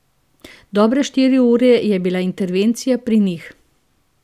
Dobre štiri ure je bila intervencija pri njih.